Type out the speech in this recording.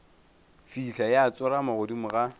fihla ya tsorama godimo ga